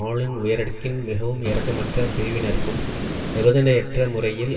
ஆளும் உயரடுக்கின் மிகவும் இரக்கமற்ற பிரிவினருக்கும் நிபந்தனையற்ற முறையில்